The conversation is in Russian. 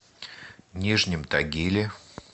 нижнем тагиле